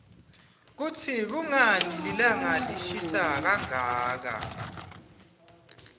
kutsi kunqani lilanqa lishisa kanqaka